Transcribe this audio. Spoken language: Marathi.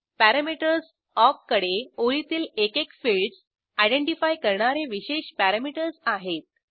पॅरॅमीटर्स ऑक कडे ओळीतील एकेक फिल्डस आयडेंटिफाय करणारे विशेष पॅरॅमीटर्स आहेत